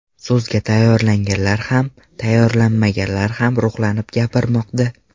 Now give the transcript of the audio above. So‘zga tayyorlanganlar ham, tayyorlanmaganlar ham ruhlanib gapirmoqda.